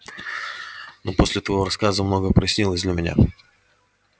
но после твоего рассказа многое прояснилось для меня